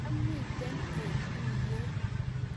kiamite eng' tuyie